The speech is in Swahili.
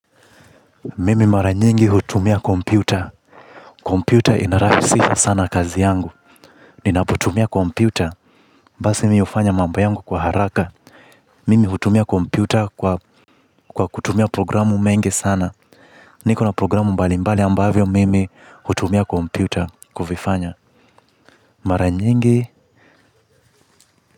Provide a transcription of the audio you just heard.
Mimi mara nyingi hutumia kompyuta. Kompyuta ina rahisisha sana kazi yangu. Ninaputumia kompyuta. Basi mimi hufanya mambo yangu kwa haraka. Mimi hutumia kompyuta kwa kutumia programu mingi sana niko na programu mbali mbali ambavyo mimi hutumia kompyuta kuvifanya.